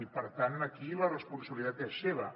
i per tant aquí la responsabilitat és seva